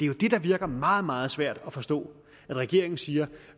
jo det der virker meget meget svært at forstå at regeringen siger at